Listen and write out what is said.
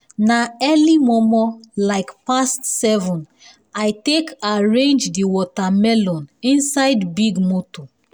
na early momo like um past seven i take arrange di wata melon inside big moto um